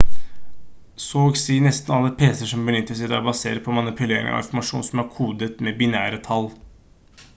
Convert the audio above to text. så og si nesten alle pc-er som benyttes i dag baseres på manipulering av informasjon som er kodet med binære tall